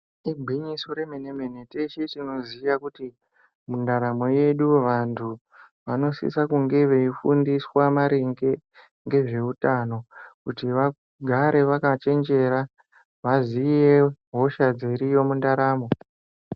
Igwinyiso remene-mene, teshe tinoziya kuti mundaramo yedu vantu vanosisa kunge veifundiswa maringe ngezveutano kuti vagare vakachenjera, vaziye hosha dziriyo mundaramo.